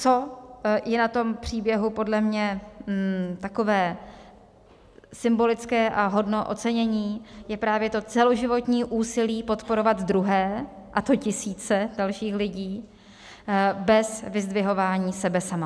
Co je na tom příběhu podle mě takové symbolické a hodno ocenění, je právě to celoživotní úsilí podporovat druhé, a to tisíce dalších lidí, bez vyzdvihování sebe sama.